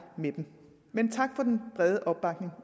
med dem men tak for den brede opbakning